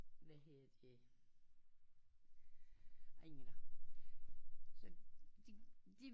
Hvad hedder det